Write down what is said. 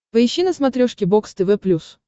поищи на смотрешке бокс тв плюс